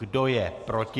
Kdo je proti?